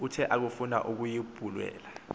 uthe akufuna ukuyibulala